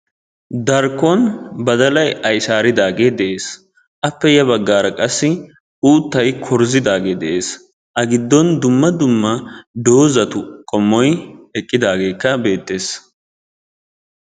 Darkkon badalayi aysaaridaagee de'es. Appe ya baggaara qassi uuttayi kurzzidaagee de'es. A giddon dumma dumma doozatu qommoyi eqqidaageekka beettes.